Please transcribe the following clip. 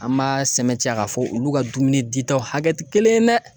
An m'a sɛbɛntiya k'a fɔ olu ka dumuni di ta hakɛ ti kelen ye dɛ